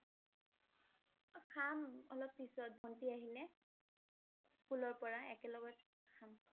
অ' খাম অলপ পিছত, ভন্টি আহিলে। স্কুলৰ পৰা একেলগত খাম